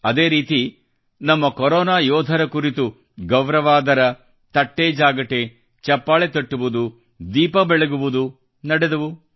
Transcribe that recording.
ಅದೇ ರೀತಿ ನಮ್ಮ ಕೊರೊನಾ ಯೋಧರ ಕುರಿತು ಗೌರವಾದರ ತಟ್ಟೆಜಾಗಟೆ ಚಪ್ಪಾಳೆ ತಟ್ಟುವುದು ದೀಪ ಬೆಳಗುವುದು ನಡೆದವು